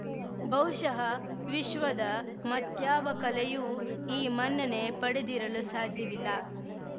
ಬಹುಶಃ ವಿಶ್ವದ ಮತ್ಯಾವ ಕಲೆಯೂ ಈ ಮನ್ನಣೆ ಪಡೆದಿರಲು ಸಾಧ್ಯವಿಲ್ಲ